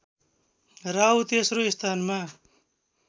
राहु तेस्रो स्थानमा